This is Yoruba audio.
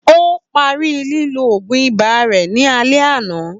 Ó parí lílọ òògùn ibà rẹ ni alẹ́ àná